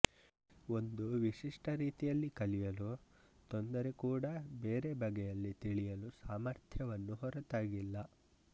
ಒಂದು ವಿಶಿಷ್ಟ ರೀತಿಯಲ್ಲಿ ಕಲಿಯಲು ತೊಂದರೆ ಕೂಡ ಬೇರೆ ಬಗೆಯಲ್ಲಿ ತಿಳಿಯಲು ಸಾಮರ್ಥ್ಯವನ್ನು ಹೊರತಾಗಿಲ್ಲ